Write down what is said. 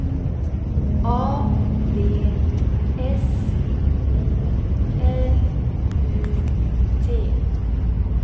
A B S O L U T